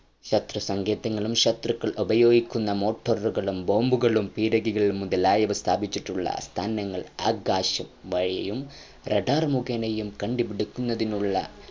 ശത്രുസാങ്കേതികളും ശത്രുക്കൾ ഉപയോഗിക്കുന് morter ഉകളും bomb കളും പീരങ്കികളും മുതലായവ സ്ഥാപിച്ചിട്ടുള്ള സ്ഥാനങ്ങൾ ആകാശ വഴിയും radar മുഖേനായും കണ്ടുപിടിക്കുന്നതിനുള്ള